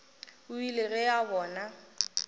o ile ge a bona